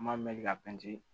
N b'a mɛn ka pɛntiri